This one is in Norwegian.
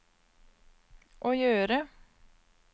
å gjøre